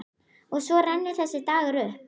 Og svo rennur þessi dagur upp.